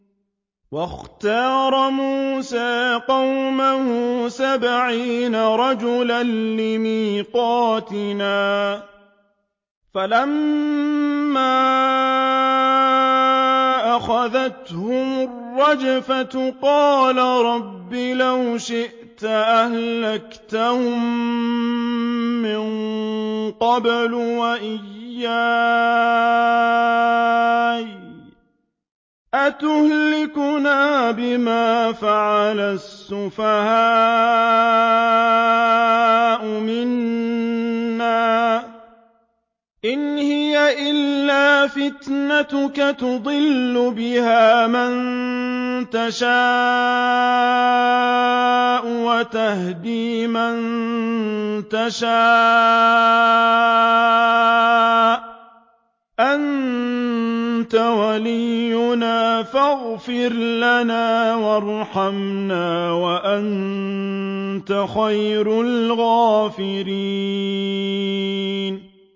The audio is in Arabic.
وَاخْتَارَ مُوسَىٰ قَوْمَهُ سَبْعِينَ رَجُلًا لِّمِيقَاتِنَا ۖ فَلَمَّا أَخَذَتْهُمُ الرَّجْفَةُ قَالَ رَبِّ لَوْ شِئْتَ أَهْلَكْتَهُم مِّن قَبْلُ وَإِيَّايَ ۖ أَتُهْلِكُنَا بِمَا فَعَلَ السُّفَهَاءُ مِنَّا ۖ إِنْ هِيَ إِلَّا فِتْنَتُكَ تُضِلُّ بِهَا مَن تَشَاءُ وَتَهْدِي مَن تَشَاءُ ۖ أَنتَ وَلِيُّنَا فَاغْفِرْ لَنَا وَارْحَمْنَا ۖ وَأَنتَ خَيْرُ الْغَافِرِينَ